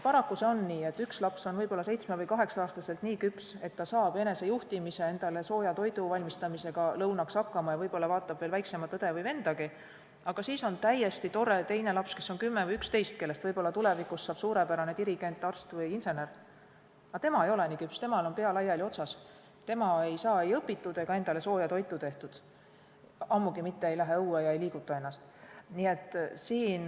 Paraku on nii, et üks laps on võib-olla 7- või 8-aastaselt nii küps, et ta saab enesejuhtimise ja endale lõunaks sooja toidu valmistamisega hakkama ja võib-olla vaatab veel väiksema õe või vennagi järele, aga siis on täiesti tore teine laps, kes on 10 või 11 ja kellest võib-olla tulevikus saab suurepärane dirigent, arst või insener, kuid tema ei ole nii küps, temal on pea laiali otsas, tema ei saa ei õpitud ega endale sooja toitu tehtud, ammugi mitte ei lähe ta õue ega liiguta ennast.